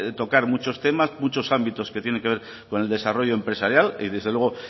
tocar muchos temas muchos ámbitos que tienen que ver con el desarrollo empresarial y desde luego